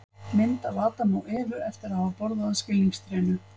mynd af adam og evu eftir að hafa borðað af skilningstrénu